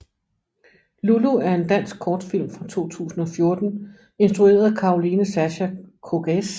Lulu er en dansk kortfilm fra 2014 instrueret af Caroline Sascha Cogez